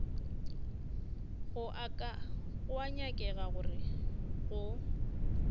go a nyakega gore go